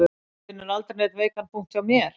Þú finnur aldrei neinn veikan punkt hjá mér